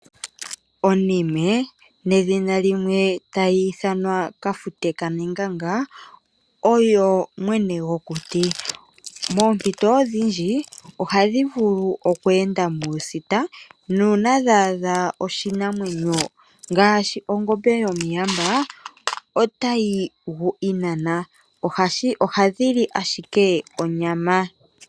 Onime ano kafute kanenganga oyo mwene gokuti. Moompito odhindji ohadhi vulu oku enda muusita nuuna dha adha iinamwenyo iikwawo ngaashi ongombe yomuyamba, otayi gu inana. Ohadhi li owala onyama.